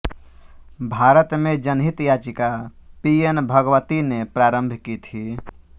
भारत में जनहित याचिका पी एन भगवती ने प्रारंभ की थी